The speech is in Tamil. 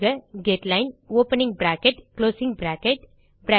எழுதுக headline opening bracket closing bracket